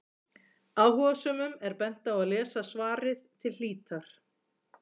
Áhugasömum er bent á að lesa svarið til hlítar.